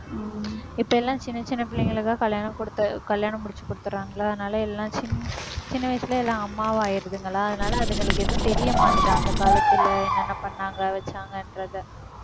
உம் இப்ப எல்லாம் சின்னச் சின்ன பிள்ளைங்களைதான் கல்யாணம் குடுத்து, கல்யாணம் முடிச்சுக் குடுத்தறாங்களா அதனால எல்லாம் சின்~ சின்ன வயசுல எல்லாம் அம்மாவா ஆயிருதுங்களா அதனால அதுங்களுக்கு எதுவும் தெரியமாட்டுது அந்த காலத்துல என்னென்ன பண்ணாங்க வச்சாங்கன்றதை